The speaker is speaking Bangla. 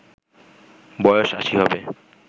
বয়স আশি হবে